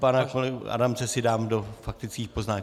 Pana kolegu Adamce si dám do faktických poznámek.